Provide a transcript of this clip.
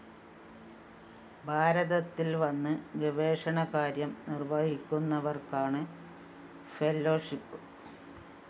ഭാരതത്തില്‍ വന്ന് ഗവേഷണകാര്യം നിര്‍വഹിക്കുന്നവര്‍ക്കാണ് ഫെലോഷിപ്പ്‌